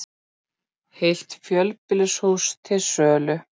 Heilt fjölbýlishús til sölu